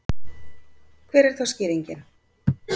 Hver er þá skýringin?